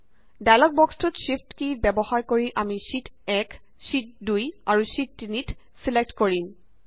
dialog বক্সটোত shift key ব্যৱহাৰ কৰি আমি শ্যিট 1 শ্যিট 2 আৰু শ্যিট 3 ত ছিলেক্ট কৰিম